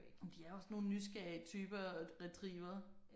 De er også nogle nysgerrige typer retrievere